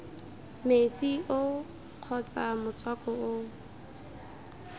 metsi oo kgotsa motswako oo